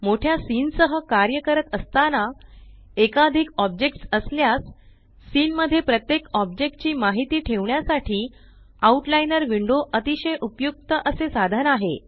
मोठ्या सीन सह कार्य करत असताना एकाधिक ऑब्जेक्ट्स असल्यास सीन मध्ये प्रत्येक ओब्जेक्टची माहिती ठेवण्यासाठी आउट लाइनर विंडो अतिशय उपयुक्त असे साधन आहे